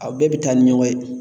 u bɛɛ bɛ taa ni ɲɔgɔn ye.